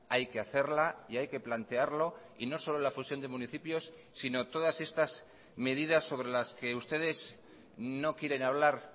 hay que hacerla y hay que plantearlo y no solo la fusión de municipios sino todas estas medidas sobre las que ustedes no quieren hablar